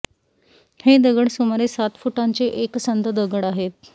हे दगड सुमारे सात फुटांचे एकसंध दगड आहेत